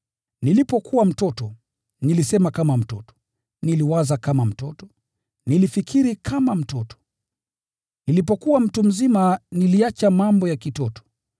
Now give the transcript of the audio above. Nilipokuwa mtoto, nilisema kama mtoto, niliwaza kama mtoto, nilifikiri kama mtoto. Nilipokuwa mtu mzima niliacha mambo ya kitoto.